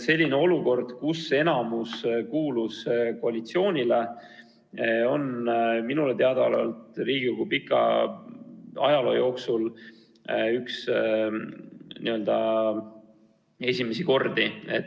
Selline olukord, kus enamus on kuulunud komisjonis koalitsioonile, on minu teada Riigikogu pika ajaloo jooksul üks esimesi kordi.